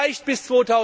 Vielleicht bis